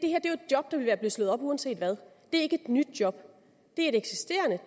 job der ville blive slået op uanset hvad det er ikke et nyt job det er et eksisterende